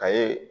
A ye